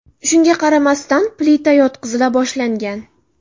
Shunga qaramasdan, plita yotqizila boshlangan.